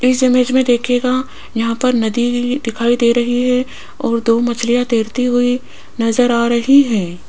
इस इमेज में देखिएगा यहां पर नदी दिखाई दे रही है और दो मछलियां तैरती हुई नजर आ रही है।